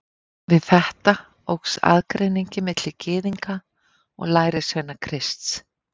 Við þetta óx aðgreiningin milli Gyðinga og lærisveina Krists.